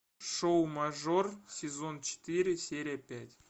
шоу мажор сезон четыре серия пять